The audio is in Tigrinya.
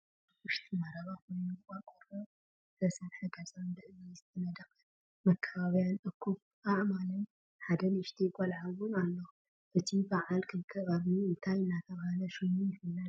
ኣበ ውሽጢ መረባ ኮይኑ ብቆርቆሮ ዝትሰረሐ ገዛንብእምኒ ዝተነደቀን መከባብያን እኩብ ኣእማንን ሓደ ንእሽተይ ቆልዓ እውን ኣሎ። እቱይ ብዓል ክልተ ቀርኒ እንታይ እናተባህለ ሽሙ ይፍለጥ?